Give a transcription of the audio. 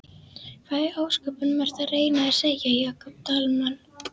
Hvað í ósköpunum ertu að reyna að segja, Jakob Dalmann?